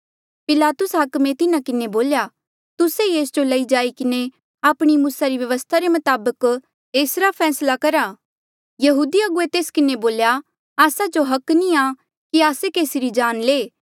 पिलातुस हाकमे तिन्हा किन्हें बोल्या तुस्से ई एस जो लई जाई किन्हें आपणी मूसा री व्यवस्था रे मताबक ऐसरा फैसला करा यहूदी अगुवे तेस किन्हें बोल्या आस्सा जो हक नी आ कि आस्से केसी री जान ले